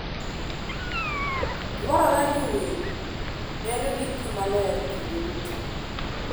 Dwarore ni winy bedo gi pi maler kinde duto.